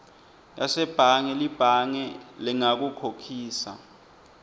yasebhange libhange lingakukhokhisa